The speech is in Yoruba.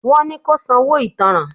Wọ́n ni kó sanwó ìtánràn.